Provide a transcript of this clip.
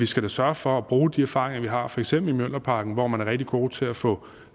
skal sørge for at bruge de erfaringer vi har for eksempel i mjølnerparken hvor man er rigtig god til at få